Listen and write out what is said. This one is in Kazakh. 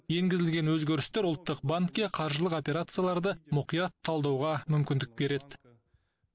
енгізілген өзгерістер ұлттық банкке қаржылық операцияларды мұқият талдауға мүмкіндік береді